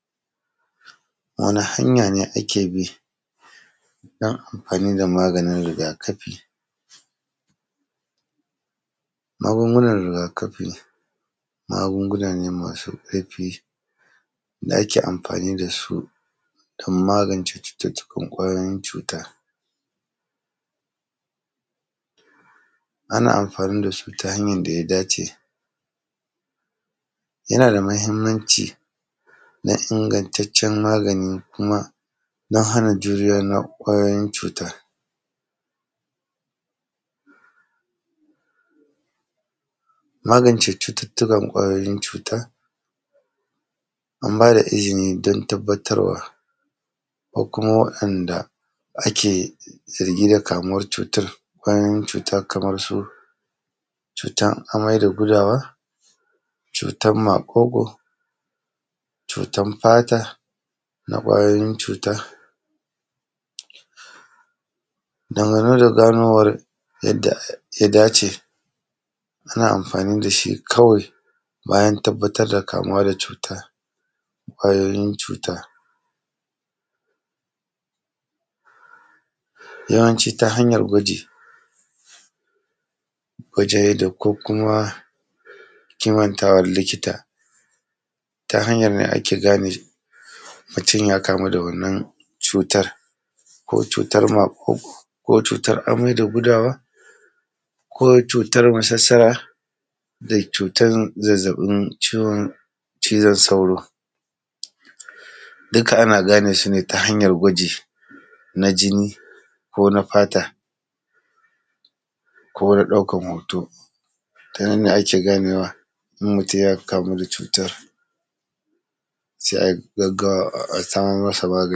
Wane hanya ne ake bi don amfani da maganin riga-kafi? Magungunan riga-kafi, magunguna ne masu ƙarfi da ake amfani da su don magance cuce-cucen ƙwayoyin cuta. Ana amfani da su ta hanyan da ya dace, yana da mahimmanci na inagantaccen magani kuma na hana juriya na ƙwayoyin cuta. Magance cututtukan ƙwayoyin cuta, an ba da izini dan tabbatarwa akwai kuma waɗanda ake irge da kamuwar cutar, ƙwayoyin cuta kamar su cutan mai da gudawa, cutan maƙoƙo, cutan fata na ƙwayoyin cuta. Dangane da ganowar yadda ya dace, ana amfani da shi kawai bayan tabbatar da kamuwa da cuta. Ƙwayoyin cuta, yawanci ta hanyan gwaji, wajeyi da ko kuma kimantawal likita, ta hanyar ne ake gane mutun ya kamu da wannan cutar, ko cutar maƙoƙo ko cutar amai da gudawa ko cutar masassara da cutar zazzaƃin ciwon cizan sauro, dika ana gane su ne ta hanyar gwaji na jinni ko na fata ko na ɗaukar hoto, ta nan ne ake ganewa in mutun ya ka mu da cutar, se ai gaggawa a samo masa magani.